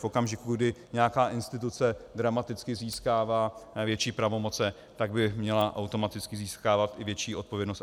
V okamžiku, kdy nějaká instituce dramaticky získává větší pravomoce, tak by měla automaticky získávat i větší odpovědnost.